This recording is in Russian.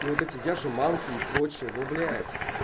вот эти я же мамки и прочее но блять